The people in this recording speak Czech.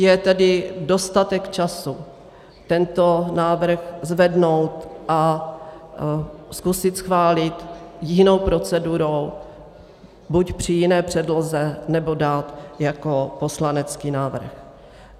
Je tedy dostatek času tento návrh zvednout a zkusit schválit jinou procedurou, buď při jiné předloze, nebo dát jako poslanecký návrh.